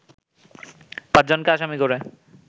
পাঁচজনকে আসামি করে